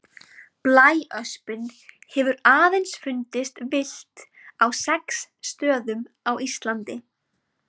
Blæöspin hefur aðeins fundist villt á sex stöðum á Íslandi.